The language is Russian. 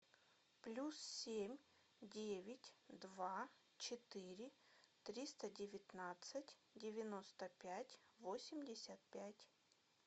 плюс семь девять два четыре триста девятнадцать девяносто пять восемьдесят пять